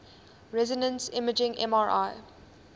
resonance imaging mri